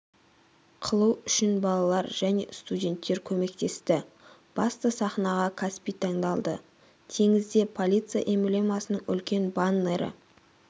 қылу үшін балалар және студенттер көмектесті басты сахнаға каспий таңдалды теңізде полиция эмблемасының үлкен баннері